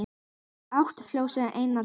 Fyrir átti Flosi eina dóttur